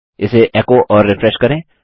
इसे एको और रिफ्रेश करें